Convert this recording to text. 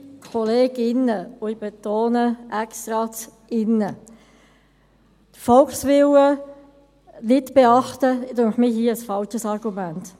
Liebe Kolleginnen – ich betone absichtlich «-innen» –, den Volkswillen nicht beachten, das finde ich hier ein falsches Argument.